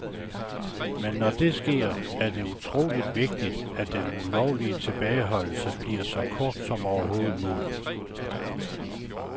Men når det sker, er det utroligt vigtigt, at den ulovlige tilbageholdelse bliver så kort som overhovedet muligt.